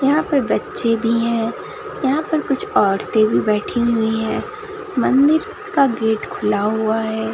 यहां पर बच्चे भी है यहां पर कुछ औरतें भी बैठी हुई है मंदिर का गेट खुला हुआ है।